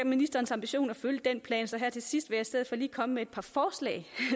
ministerens ambition at følge den plan så her til sidst vil jeg i stedet for lige komme med et par forslag